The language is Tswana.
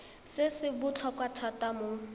se se botlhokwa thata mo